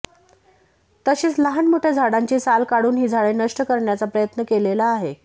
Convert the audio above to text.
तसेच लहान मोठ्या झाडांची साल काढून ही झाडे नष्ट करण्याचा प्रयत्न केलेला आहे